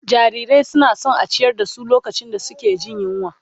Jarirai suna son a ciyar da su lokacin da suke jin yunwa